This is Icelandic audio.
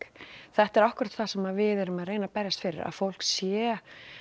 þetta er akkúrat það sem við erum að reyna að berjast fyrir að fólk sé